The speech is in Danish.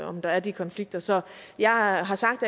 om der er de konflikter så jeg har sagt